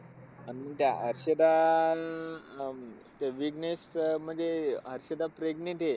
आणि त्या हर्षदा अन अं मग ते विघ्नेश अं म्हणजे हर्षदा pregnant आहे.